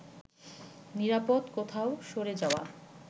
নিরাপদ কোথাও সরে যাওয়া